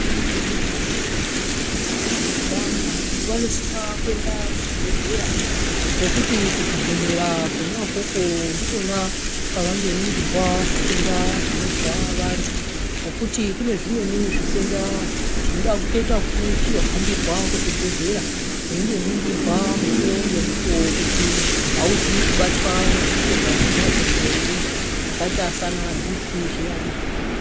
Vantu vanosisa kuenda kuzvibhedhlera ngekuti kuzvibhedhlera kona ikoko ndikona kwavandoningirwa zvitenda zvinozwa vantu. Ngekuti kune zvimweni zvitenda zvinoda kuita vekutohambirwa kuzvibhedhlera veindoningirwa mukuvo ngemukuvo kuti hauzwi kubatwa ngezvitenda zvona izvozvo ere, zvakaita sana bhipi zviyana.